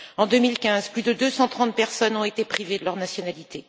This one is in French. En 2015, plus de 230 personnes ont été privées de leur nationalité.